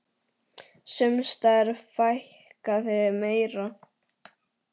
Sums staðar fækkaði meira.